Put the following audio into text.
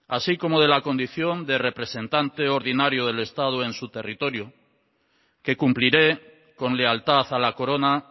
así como de la condición de representante ordinario del estado en su territorio que cumpliré con lealtad a la corona